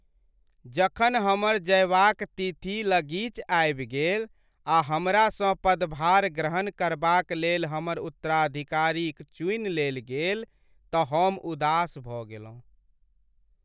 जखन हमर जयबाक तिथि लगीच आबि गेल आ हमरासँ पदभार ग्रहण करबाक लेल हमर उत्तराधिकारीक चुनि लेल गेल तऽ हम उदास भऽ गेलहुँ।